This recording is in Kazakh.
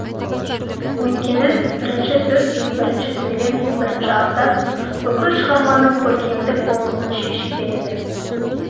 өйткені бірінші сөз бірінші сөйлем бірінші абзац бүкіл шығарманың көркемдік болмысын шешіп береді